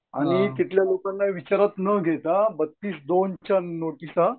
आणि तिथल्या लोकांना विचारात न घेता च्या नोटिसा